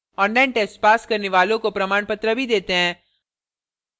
online test pass करने वालों को प्रमाणपत्र भी देते हैं